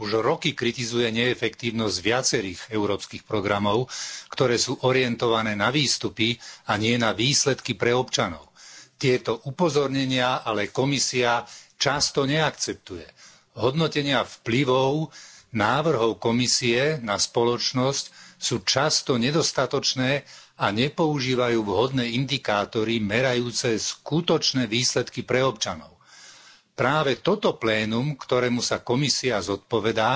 Vážený pán predsedajúci. Európsky dvor audítorov už roky kritizuje neefektívnosť viacerých európskych programov, ktoré sú orientované na výstupy a nie na výsledky pre občanov. Tieto upozornenia ale Komisia často neakceptuje. Hodnotenia vplyvov návrhov Komisie na spoločnosť sú často nedostatočné a nepoužívajú vhodné indikátory merajúce skutočné výsledky pre občanov. Práve toto plénum, ktorému sa Komisia zodpovedá,